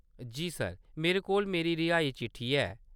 जी sir. मेरे कोल मेरी रिहाई चिट्ठी ऐ।